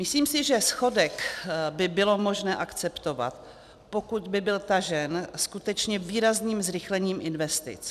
Myslím si, že schodek by bylo možné akceptovat, pokud by byl tažen skutečně výrazným zrychlením investic.